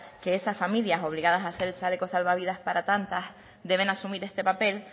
que esa familia obligadas a hacer el chaleco salvavidas para tantas deben asumir este papel